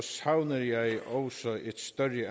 savner jeg også et større